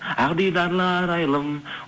ақ дидарлы арайлым